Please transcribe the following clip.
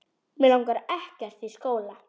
Mig langar ekkert í skóla.